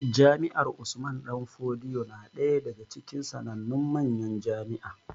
Jami'ar Usman danfodiyo na ɗaya daga cikin sanannun manyan jami'a